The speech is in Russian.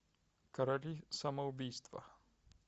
короли самоубийства